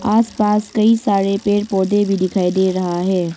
आसपास कई सारे पेड़ पौधे भी दिखाई डे रहा है।